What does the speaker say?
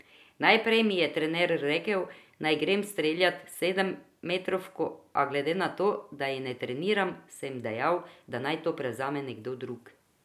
Najprej mi je trener rekel, naj grem streljat sedemmetrovko, a glede na to, da jih ne treniram, sem dejal, da naj to prevzame nekdo drug.